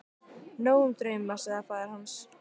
Nóg um drauma, sagði faðir hans.